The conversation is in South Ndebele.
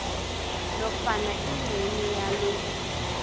nofana ingcenye yalo